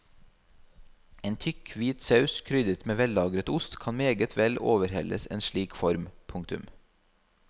En tykk hvit saus krydret med vellagret ost kan meget vel overhelles en slik form. punktum